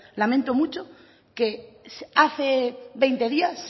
lamento mucho que hace veinte días